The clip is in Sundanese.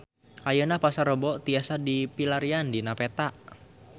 Ayeuna Pasar Rebo tiasa dipilarian dina peta